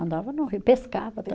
Andava no rio, pescava